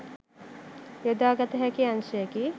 යොදාගත හැකි අංශයකි.